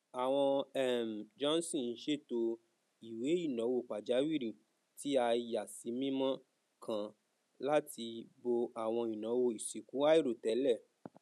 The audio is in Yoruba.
àwọn um johnson ṣètò ìwéináwó pajàwìrì tí a yàsímímọ kan láti bó àwọn ináwó ìsìnkú àìròtẹlẹ